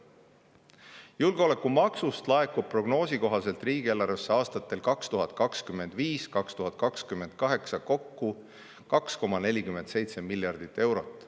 Julgeolekumaksust laekub prognoosi kohaselt riigieelarvesse aastatel 2025–2028 kokku 2,47 miljardit eurot.